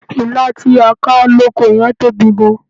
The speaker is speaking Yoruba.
Ilá tí a ká lóko yẹn tóbi gan-an.